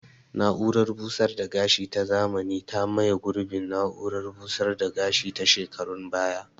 Na'urar busar da gashi ta zamani ta maye gurbin na'urar busar da gashi ta shekarun baya